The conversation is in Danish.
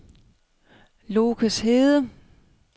Lokeshede